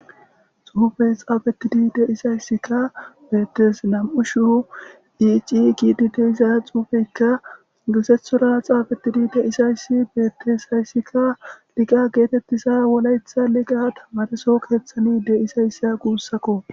Xuufe xaafetidide isayssikka beettes nam'u shu ici giiditi iza xuufeykka gesethora xaafetidide isayssi beettes hayssikka liqa geetettisa wolaytha liqa madeso keeththani de isayssa guussakko.